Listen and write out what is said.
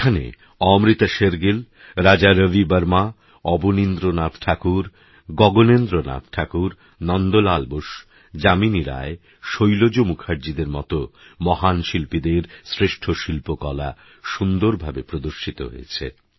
এখানে আমৃতাশের গিল রাজার বিবর্মা অবনিন্দ্রনাথ ঠাকুর গগনেন্দ্রনাথ ঠাকুর নন্দলাল বোস যামিনী রায় শৈলজ মুখার্জীদের মতো মহান শিল্পীদের শ্রেষ্ঠ শিল্পকলা সুন্দরভাবে প্রদর্শিত হয়েছে